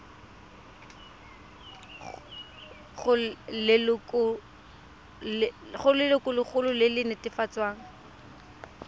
go lelokolegolo e e netefatsang